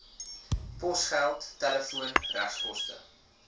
posgeld telefoon regskoste